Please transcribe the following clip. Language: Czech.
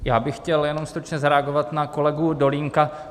Já bych chtěl jenom stručně zareagovat na kolegu Dolínka.